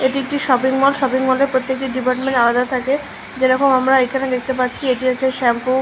এটি একটি shopping mall shopping মলের প্রত্যেকটা ডিপার্টমেন্ট আলাদা থাকে যেরকম আমরা এইখানে দেখতে পাচ্ছি এটি হচ্ছে শ্যাম্পু ।